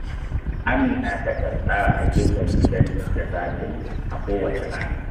Amina takan tsara ayyukan gidan da za ta yi a kowace rana